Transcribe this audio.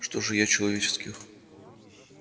что же я человеческих